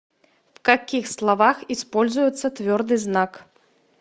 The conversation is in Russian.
в каких словах используется ъ